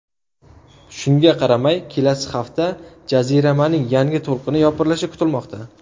Shunga qaramay, kelasi hafta jaziramaning yangi to‘lqini yopirilishi kutilmoqda.